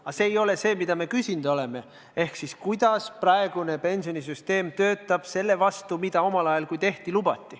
Aga see ei ole see, mida me küsinud oleme: kuidas praegune pensionisüsteem töötab võrreldes sellega, mida omal ajal lubati?